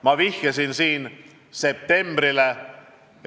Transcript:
Ma nimetasin siin septembrikuud.